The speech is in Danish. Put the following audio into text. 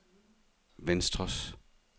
venstres